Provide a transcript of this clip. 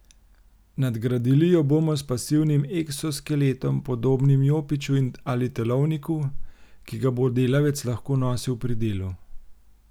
Nadgradili jo bomo s pasivnim eksoskeletom, podobnim jopiču ali telovniku, ki ga bo delavec lahko nosil pri delu.